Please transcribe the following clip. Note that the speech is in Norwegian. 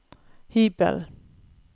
hybelen